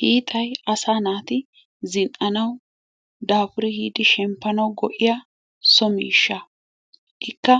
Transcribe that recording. Hixaay asaa naati zinanawu, dafurri yiddi shempanawu go'ettiyo so misha, ikka